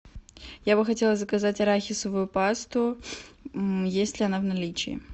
я бы хотела заказать арахисовую пасту есть ли она в наличии